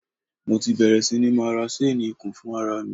Mo ti bẹ̀rè sí ní máa ra ṣéénì ikùn fún ara mi.